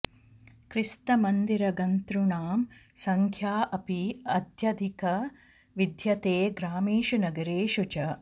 क्रिस्तमन्दिरगन्तॄणां सङ्ख्या अपि अत्यधिका विद्यते ग्रामेषु नगरेषु च